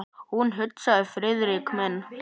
Hún sagði: Friðrik minn!